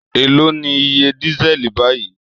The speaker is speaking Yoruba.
Èló ni iye dísẹ́ẹ̀lì báyìí?